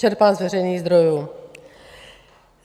Čerpám z veřejných zdrojů.